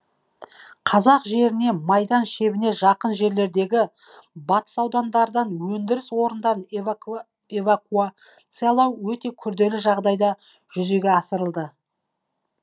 қазақ жеріне майдан шебіне жақын жерлердегі батыс аудандардан өндіріс орындарын эвакуациялау өте күрделі жағдайда жүзеге асырылды